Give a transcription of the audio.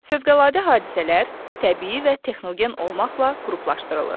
Fövqəladə hadisələr təbii və texnogen olmaqla qruplaşdırılır.